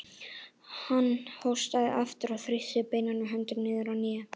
Hann hóstaði aftur og þrýsti beinaberum höndunum niður á hnén.